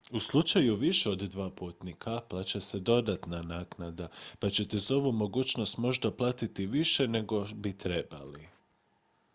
u slučaju više od 2 putnika plaća se dodatna naknada pa ćete za ovu mogućnost možda platiti više nego bi trebali